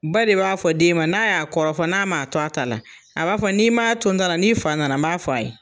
Ba de b'a fɔ den ma n'a y'a kɔrɔfɔ n'a ma a to a ta la, a b'a fɔ n'i m'a to n ta la n'i fa nana m'a f'a ye.